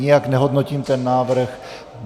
Nijak nehodnotím ten návrh.